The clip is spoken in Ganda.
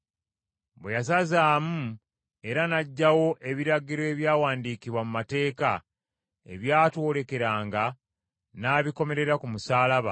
Bwe yasazaamu era n’aggyawo ebiragiro ebyawandiikibwa mu mateeka ebyatwolekeranga, n’abikomerera ku musaalaba,